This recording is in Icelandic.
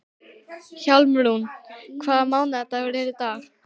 Hjálmrún, hvaða mánaðardagur er í dag?